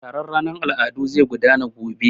Taron ranar al'adu zai gudana gobe.